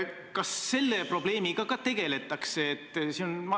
Kas selle probleemiga ka tegeletakse?